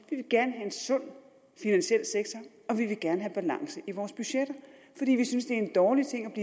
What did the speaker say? vil gerne have en sund finansiel sektor og vi vil gerne have balance i vores budgetter fordi vi synes det en dårlig ting